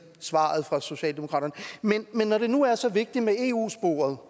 svaret fra socialdemokratiet men når det nu er så vigtigt med eu sporet